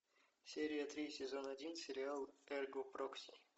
серия три сезон один сериал эрго прокси